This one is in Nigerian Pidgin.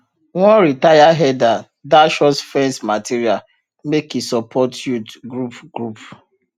one retire herder dash us fence material make e support yout group group